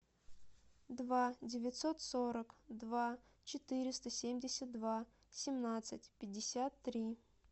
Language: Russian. два девятьсот сорок два четыреста семьдесят два семнадцать пятьдесят три